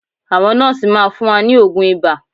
Àwọn nọ́ọ́sì máa fún wa ní oògùn ibà